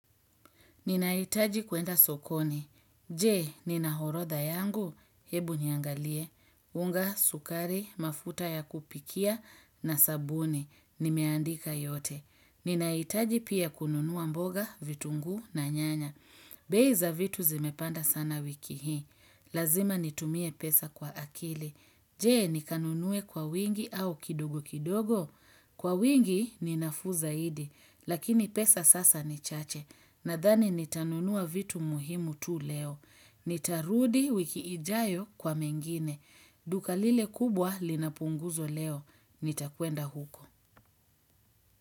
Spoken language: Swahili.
Ninaitaji kuenda sokoni. Jee, nina horodha yangu, hebu niangalie. Unga, sukari, mafuta ya kupikia na sabuni, nimeandika yote. Ninaitaji pia kununuwa mboga, vitunguu na nyanya. Being za vitu zimepanda sana wiki hii, lazima nitumie pesa kwa akili, jee nikanunue kwa wingi au kidogo kidogo, kwa wingi ninafuu zaidi, lakini pesa sasa nichache, nadhani nitanunua vitu muhimu tu leo, nitarudi wikiijayo kwa mengine, duka lile kubwa linapunguzo leo, nitakuenda huko.